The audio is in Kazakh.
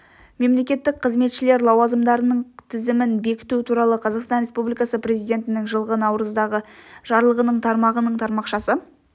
мемлекеттік қызметшілер лауазымдарының тізімін бекіту туралы қазақстан республикасы президентінің жылғы наурыздағы жарлығының тармағының тармақшасы